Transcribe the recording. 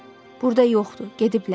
Burda yoxdur, gediblər.